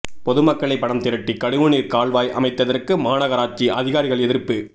பொதுமக்களே பணம் திரட்டி கழிவுநீர் கால்வாய் அமைத்ததற்கு மாநகராட்சி அதிகாரிகள் எதிர்ப்பு